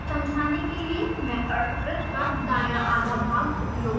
समझाने के लिए मैं अर्धवृत का दाँया आधा भाग उपयोग करुँगी